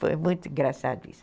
Foi muito engraçado isso.